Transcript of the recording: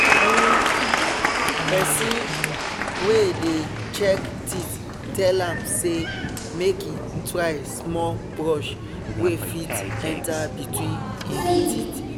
um person wey dey check teeth tell am say make he try small brush wey fit enter between him teeth